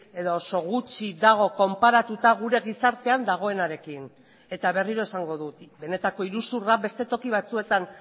edo oso gutxi dago konparatuta gure gizartean dagoenarekin eta berriro esango dut benetako iruzurra beste toki batzuetan